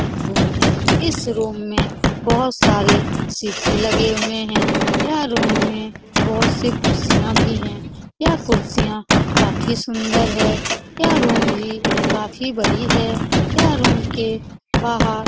एक रूम है इस रूम में बहुत सारे शीशे लगे हुए है। यह रूम में बहुत सी कुर्सियां भी है। यह कुर्सियां काफी सुंदर है। यह रूम भी काफी बड़ी है। यह रूम के --